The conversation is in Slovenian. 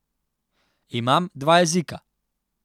Imam dva jezika.